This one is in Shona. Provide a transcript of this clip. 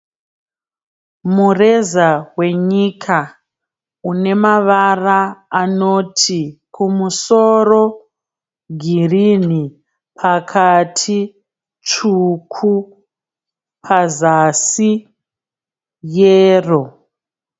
Mureza wenyika une mavara anoti kumusoro girini pakati tsvuku pazasi yero.